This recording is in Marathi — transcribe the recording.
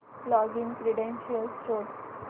लॉगिन क्रीडेंशीयल्स शोध